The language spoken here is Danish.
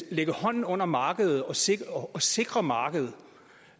at lægge hånden under markedet og sikre og sikre markedet